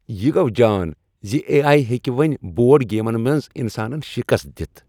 یہ گَو جان زِ اےآیی ہیٚکہِ وۄنۍ بورڈ گیٖمَن منٛز انسانن شکست دتھ